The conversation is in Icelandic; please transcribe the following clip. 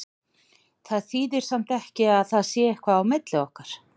Það þýðir samt ekki að það sé eitthvað á milli okkar.